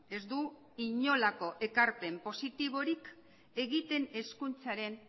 ez du inolako ekarpen positiborik egiten hezkuntzaren